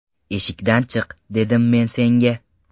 Eshikdan chiq, dedim men senga!